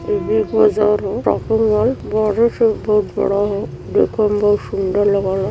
इ Big Bazaar ह shopping mall. बहरे से बहोत बड़ा ह। देखे में बहोत सूंदर लागल ह।